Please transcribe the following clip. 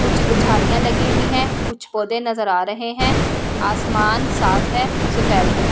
कुछ गझाड़िया लगी हुई है कुछ पौधे नज़र आ रहे है आसमान साफ है सफेेद है ।